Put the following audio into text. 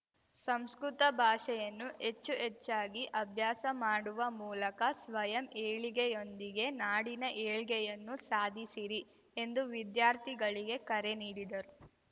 ಸಂಸ್ಕೃತ ಭಾಷೆಯನ್ನು ಹೆಚ್ಚು ಹೆಚ್ಚಾಗಿ ಅಭ್ಯಾಸ ಮಾಡುವ ಮೂಲಕ ಸ್ವಯಂ ಏಳಿಗೆಯೊಂದಿಗೆ ನಾಡಿನ ಏಳ್ಗೆಯನ್ನು ಸಾಧಿಸಿರಿ ಎಂದು ವಿದ್ಯಾರ್ಥಿಗಳಿಗೆ ಕರೆ ನೀಡಿದರು